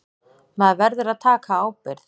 Maður verður að taka ábyrgð.